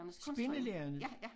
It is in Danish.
Spillelærernes?